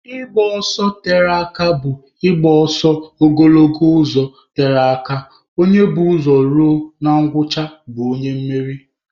Ịgba ọsọ tere aka bụ igba ọsọ ogologo ụzọ tere aka, onye bu ụzọ ruo na ngwụcha bụ onye mmeri